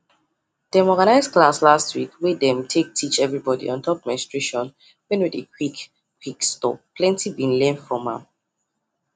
them organize class last week wey them take teach everybody on top menstruation wen no dey quick quick stop plenty be learn from am